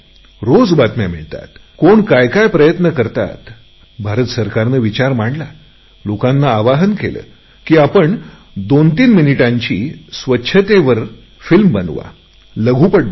रोज बातम्या येत असतात कोण काय काय प्रयत्न करतात भारत सरकारने विचार मांडला लोकांना आवाहन केले की आपण दोनतीन मिनिटांची स्वच्छतेवरची फिल्म बनवा